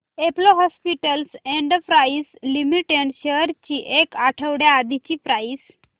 Apollo Hospitals Enterprise Limited shares ची एक आठवड्या आधीची प्राइस